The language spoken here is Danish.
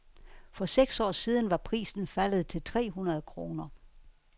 For seks år siden var prisen faldet til tre hundrede kroner.